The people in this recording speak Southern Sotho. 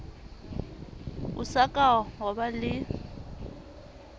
o sa ka waba le